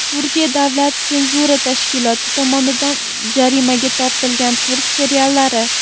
Turkiya davlat senzura tashkiloti tomonidan jarimaga tortilgan turk seriallari.